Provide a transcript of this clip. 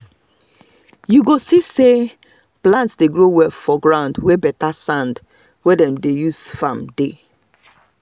you go see say plant dey grow well for ground wey better sand wey dem dey use farm dey.